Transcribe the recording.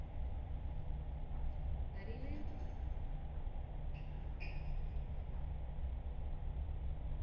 அறிவு